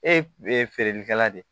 Ee feerelikɛla de ye